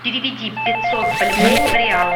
переведи пятьсот бальбоа в реалы